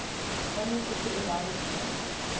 unrestricted endowment fund